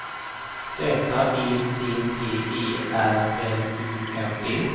Z E T T E R L U N D